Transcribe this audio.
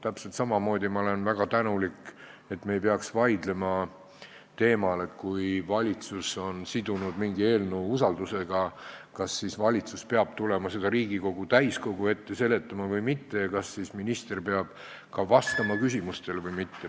Täpselt samamoodi olen ma väga tänulik, et me ei pea vaidlema teemal, et kui valitsus on sidunud mingi eelnõu usaldamisega, kas siis valitsus peab tulema seda Riigikogu täiskogu ette seletama või mitte ja kas siis minister peab ka küsimustele vastama või mitte.